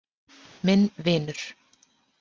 Minn vinur.